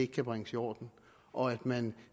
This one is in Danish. kan bringes i orden og at man